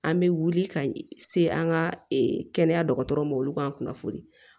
An bɛ wuli ka se an ka kɛnɛya dɔgɔtɔrɔw ma olu ka kunnafoli